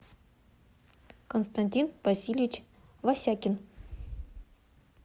константин васильевич васякин